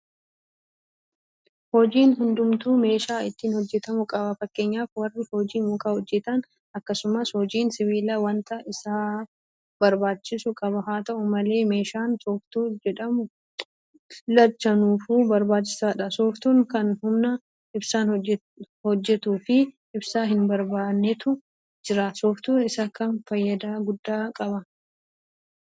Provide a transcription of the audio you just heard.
Hojiin hundumtuu meeshaa ittiin hojjetamu qaba. Fakkeenyaaf warri hojii mukaa hojjetan; akkasumas hojiin sibiilaa waanta isaaf barbaachisu qaba. Haata'u malee meeshaan Sooftuu jedhamu lachanuufuu barbaachisaadha. Sooftuun kan humna ibsaan hojjetuufi ibsaa hinbarbaannetu jira. Sooftuu isa kamtu faayidaa guddaa qaba?